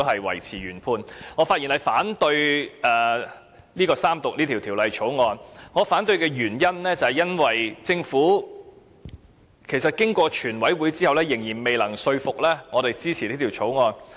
因此，我發言反對三讀這項《條例草案》，原因是經過了全體委員會審議階段，政府仍然未能說服我支持這項《條例草案》。